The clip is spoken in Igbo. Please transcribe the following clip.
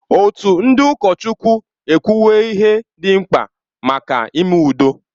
Òtù ndị ụkọchukwu ekwuwo ihe dị mkpa maka ime udo.